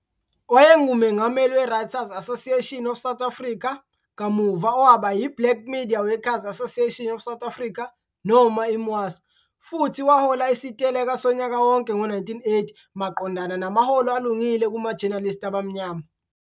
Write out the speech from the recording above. WayenguMengameli we-Writers 'Association of South Africa, kamuva owaba yi-Black Media Workers Association of South Africa, noma i-Mwasa, futhi wahola isiteleka sonyaka wonke ngo-1980 maqondana namaholo alungile kuma-journalist abamnyama.